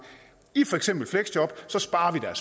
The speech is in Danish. i for eksempel fleksjob sparer